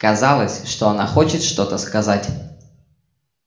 казалось что она хочет что-то сказать